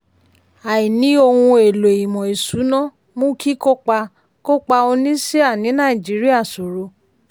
àìní ohun èlo ìmò ìṣúná mú kíkópa kó pa onísíà ní Nàìjíríà sòro